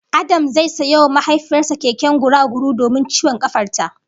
Adams zai sayo wa mahaifiyar sa keken guragu domin ciwon kafar ta